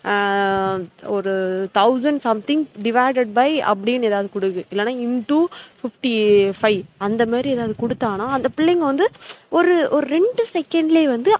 ஆஹ் ஒரு thousand something divided by அப்டினு எதாவது குடுக்குது இல்லைனா into fifty-five அந்த மாறி எதாவது குடுத்தாங்கனா அந்த பிள்ளைங்க வந்து ஒரு ஒரு ரெண்டு second லையே வந்து